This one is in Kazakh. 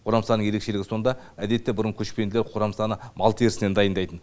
қорамсаның ерекшілігі сонда әдетте бұрын көшпенділер қорамсаны мал терісінен дайындайтын